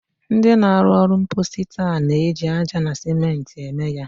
Ndị na-arụ ụlọ mposi taa na-eji aja na sèmenti eme ya.